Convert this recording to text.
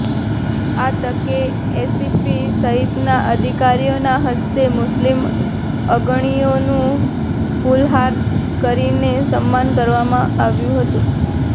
આ તકે એસીપી સહિતના અધિકારીઓના હસ્તે મુસ્લિમ અગણીઓનું ફુલહાર કરીને સન્માન કરવામાં આવ્યું હતું